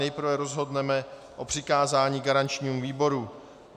Nejprve rozhodneme o přikázání garančnímu výboru.